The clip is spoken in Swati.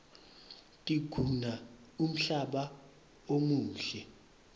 tiguna umhlaba umuhle